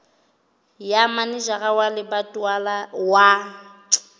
ya manejara wa lebatowa wa